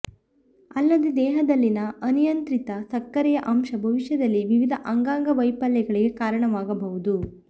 ಅಲ್ಲದೆ ದೇಹದಲ್ಲಿನ ಅನಿಯಂತ್ರಿತ ಸಕ್ಕರೆಯ ಅಂಶ ಭವಿಷ್ಯದಲ್ಲಿ ವಿವಿಧ ಅಂಗಾಂಗ ವೈಫಲ್ಯಗಳಿಗೆ ಕಾರಣವಾಗಬಹುದು